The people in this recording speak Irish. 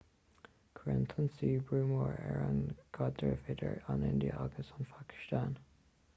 chuir an t-ionsaí brú mór ar an gcaidreamh idir an india agus an phacastáin